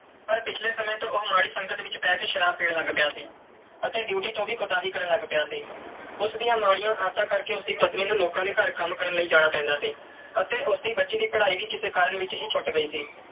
ਪਰ ਪਿਛਲੇ ਸਮੇਂ ਤੋਂ ਉਹ ਮਾੜੀ ਸੰਗਤ ਵਿੱਚ ਪੈ ਕੇ ਸ਼ਰਾਬ ਪੀਣ ਲੱਗ ਪਿਆ ਸੀ ਅਤੇ ਡਿਊਟੀ ਤੋਂ ਵੀ ਕੁਤਾਹੀ ਕਰਨ ਲੱਗ ਪਿਆ ਸੀ। ਉਸ ਦੀਆਂ ਮਾੜੀਆਂ ਆਦਤਾਂ ਕਰਕੇ ਉਸ ਦੀ ਪਤਨੀ ਨੂੰ ਲੋਕਾਂ ਦੇ ਘਰ ਕੰਮ ਕਰਨ ਲਈ ਜਾਣਾ ਪੈਂਦਾ ਸੀ ਅਤੇ ਉਸ ਦੀ ਬੱਚੀ ਦੀ ਪੜ੍ਹਾਈ ਵੀ ਕਿਸੇ ਕਾਰਨ ਵਿੱਚ ਹੀ ਛੁੱਟ ਗਈ ਸੀ।